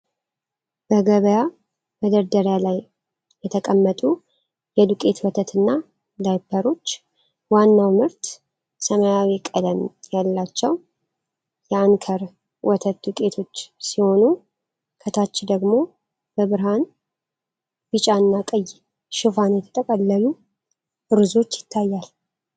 በገበያ መደርደሪያ ላይ የተቀመጡ የዱቄት ወተትና ዳይፐሮች ። ዋናው ምርት ሰማያዊ ቀለም ያላቸው የ"አንከር" ወተት ዱቄቶች ሲሆኑ፣ ከታች ደግሞ በብርሃን ቢጫና ቀይ ሽፋን የተጠቀለሉ ሩዞች ይታያሉ።